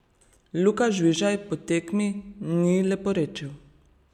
Luka Žvižej po tekmi ni leporečil.